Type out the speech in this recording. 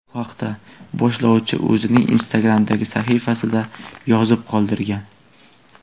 Bu haqda boshlovchi o‘zining Instagram’dagi sahifasida yozib qoldirgan .